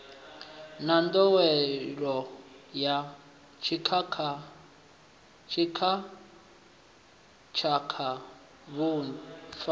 na nḓowelo ya dzitshakatshaka vhufa